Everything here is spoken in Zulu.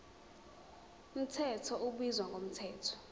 mthetho ubizwa ngomthetho